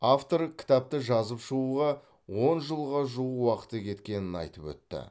автор кітапты жазып шығуға он жылға жуық уақыты кеткенін айтып өтті